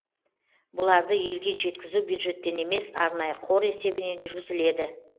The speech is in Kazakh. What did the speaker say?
бұларды елге жеткізу бюджеттен емес арнайы қор есебінен жүргізіледі